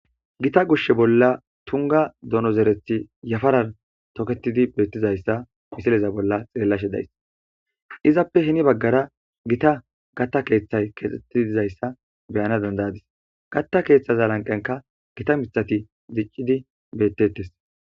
Gita gushshe bolla tunga donozerethi yafarar toketidi beettizayssa misileza bolla xeellashe days. Izappe hini baggara gita gatta keeththay kexettidizayssa beyana dandayadis. Gatta keeththaza lanqenka gita mithati zic'c'idi bettettes.